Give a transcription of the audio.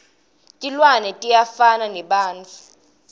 tilwane tiyafana nebantfu